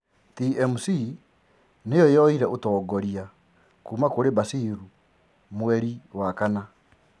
TMC niyo yoire utongoria kuma kũri Basir mweri wa April.